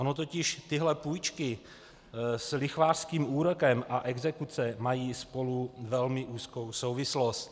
Ony totiž tyhle půjčky s lichvářským úrokem a exekuce mají spolu velmi úzkou souvislost.